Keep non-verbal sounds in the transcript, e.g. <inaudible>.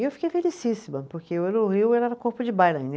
E eu fiquei felicíssima, porque eu eu no Rio era. <unintelligible>